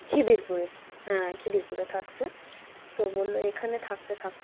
খিদিরপুর হ্যাঁ খিদিরপুরে থাকসে তো বলল এখানে থাকতে থাকতে,